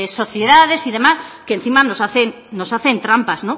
sociedades y demás que encima nos hacen trampas